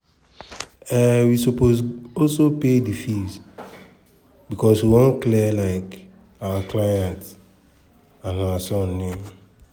um we go also pay di fee becos we wan clear um our clients and her son name.